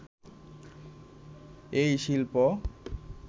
এই শিল্প